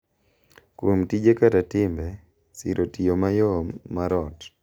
Kuom tije kata timbe, siro tiyo mayom mar ot.